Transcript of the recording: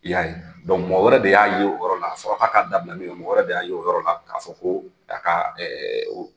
I y'a ye mɔgɔ wɛrɛ de y'a ye o yɔrɔ la, a fɔra k'a ka dabila min kɛ mɔgɔ wɛrɛ de y'a o yɔrɔ la k'a fɔ ko ka ɛɛ